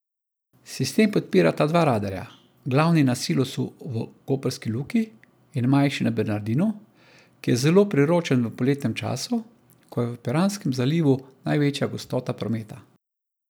Sistem podpirata dva radarja, glavni na silosu v koprski luki in manjši na Bernardinu, ki je zelo priročen v poletnem času, ko je v Piranskem zalivu največja gostota prometa.